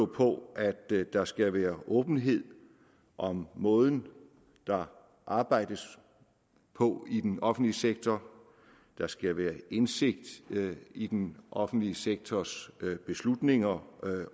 på at der skal være åbenhed om måden der arbejdes på i den offentlige sektor der skal være indsigt i den offentlige sektors beslutninger